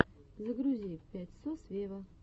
загрузи пять сос вево